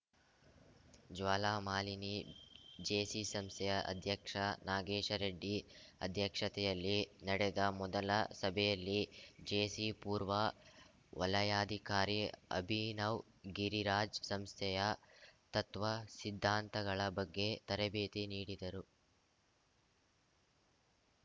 Jwalamalini JC ಸಂಸ್ಥೆಯ ಅಧ್ಯಕ್ಷ ನಾಗೇಶರೆಡ್ಡಿ ಅಧ್ಯಕ್ಷತೆಯಲ್ಲಿ ನಡೆದ ಮೊದಲ ಸಭೆಯಲ್ಲಿ ಜೇಸಿ ಪೂರ್ವ ವಲಯಾಧಿಕಾರಿ ಅಭಿನವ್ ಗಿರಿರಾಜ್‌ ಸಂಸ್ಥೆಯ ತತ್ವ ಸಿದ್ಧಾಂತಗಳ ಬಗ್ಗೆ ತರಬೇತಿ ನೀಡಿದರು